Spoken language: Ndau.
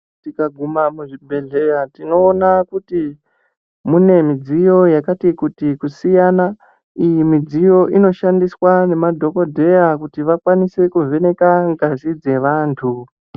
Tikaguma muzvibhehleya tinoona kuti mune mudziyo yakati kuti kusiyana iyi mudziyo inoshandiswa ngemadhokotera kuti vakwanise kuvheneke ngazi dzevandu.